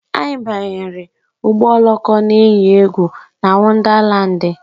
Anyị banyere ụgbọ oloko na eyi egwu na Wondalandi